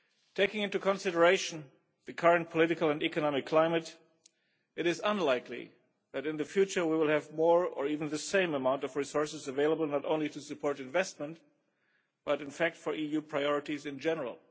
Taking into consideration the current political and economic climate, it is unlikely that in the future we will have more, or even the same amount of resources available not only to support investment, but in fact for EU priorities in general.